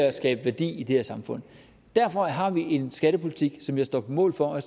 at skabe værdi i det her samfund derfor har vi en skattepolitik som jeg står på mål for og